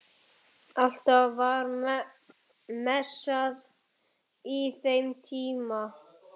Alltaf var messað á þeim tíma